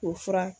K'o fura